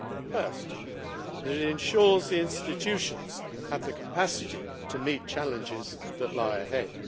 First, it ensures the institutions have the capacity to meet challenges that lie ahead.